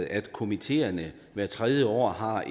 at komiteerne hvert tredje år har